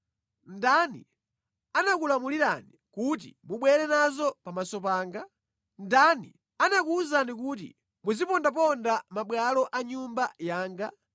Ndani anakulamulirani kuti mubwere nazo pamaso panga? Ndani anakuwuzani kuti muzipondaponda mʼmabwalo a nyumba yanga?